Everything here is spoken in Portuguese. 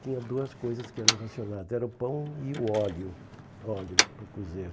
Tinha duas coisas que eram racionadas, era o pão e o óleo, óleo para cozer.